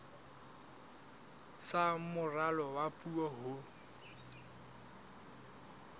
sa moralo wa puo ho